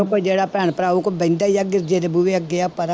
ਕੋਈ ਜਿਹੜਾ ਭੈਣ ਭਰਾ ਆਉ ਕੋਈ ਬਹਿੰਦਾ ਹੀ ਆ ਦੂਜੇ ਦੇ ਬੂਹੇ ਅੱਗੇ ਪਰਾਂ